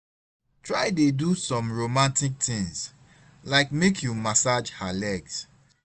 try dey do som romatik tins lyk mek yu massage her legs